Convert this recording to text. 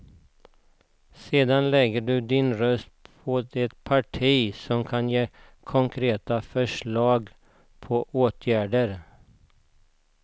Sedan lägger du din röst på det parti som kan ge konkreta förslag på åtgärder.